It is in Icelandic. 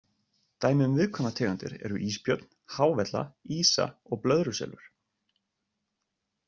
Dæmi um viðkvæmar tegundir eru ísbjörn, hávella, ýsa og blöðruselur.